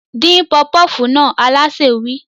Dín pọfupọ́fù náà! Alásè wí.